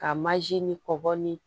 Ka ni kɔbɔ ni